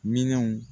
Minanw